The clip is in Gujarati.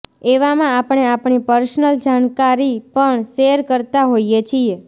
એવામાં આપણે આપણી પર્સનલ જાણકારી પણ શેર કરતા હોઇએ છીએ